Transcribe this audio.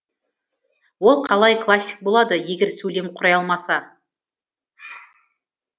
ол қалай классик болады егер сөйлем құрай алмаса